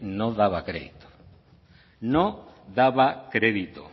no daba crédito no daba crédito